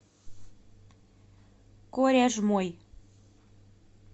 коряжмой